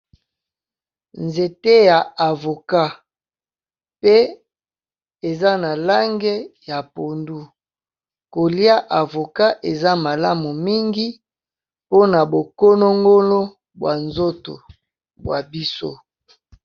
Nzete ya avocat pe eza na lange ya pondu, kolia avocat eza malamu mingi mpona bo konongolo bwa nzoto bwa biso.